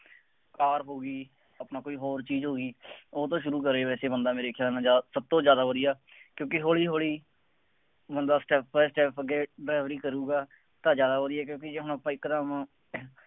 ਕਾਰ ਹੋ ਗਈ ਆਪਣਾ ਕੋਈ ਹੋਰ ਚੀਜ਼ ਹੋ ਗਈ, ਉਹ ਤੋਂ ਸ਼ੁਰੂ ਕਰੇ ਵੈਸੇ ਬੰਦਾ ਮੇਰੇ ਖਿਆਂਲ ਨਾਲ, ਜ਼ਿਆਦਾ, ਸਭ ਤੋਂ ਜ਼ਿਆਦਾ ਵਧੀਆ, ਕਿਉਂਕਿ ਹੌਲੀ ਹੌਲੀ ਬੰਦਾ step by step ਅੱਗੇ ਫੇਰ ਉਹੀ ਕਰੂਗਾ, ਤਾਂ ਜ਼ਿਆਦਾ ਵਧੀਆ ਕਿਉਂਕਿ ਜੇ ਹੁਣ ਆਪਾਂ ਇੱਕ ਦਮ